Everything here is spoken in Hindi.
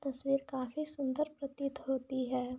इसमें खाफी सुन्दर प्रतीत होती है।